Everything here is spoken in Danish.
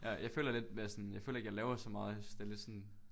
Ja jeg føler lidt mere sådan jeg føler ikke jeg laver så meget jeg synes det er lidt sådan